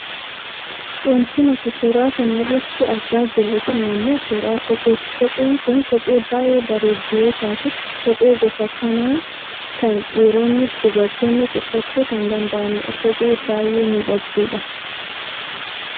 Wanti nuti suura kana irratti argaa jirru kun ammoo suuraa kopheeti. Kopheen kun kophee baayyee bareeddu yoo taatu kophee gosa kanaa kana dhiironnis duabartoonnis uffachuu kan danda'anidha. Kophee baayyee miidhagduudha.